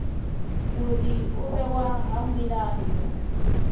uri u vhewa ha milayo